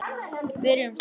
Við rifumst aldrei.